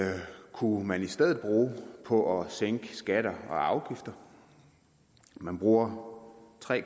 kunne man i stedet bruge på at sænke skatter og afgifter man bruger tre